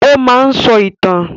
Ó máa ń sọ ìtàn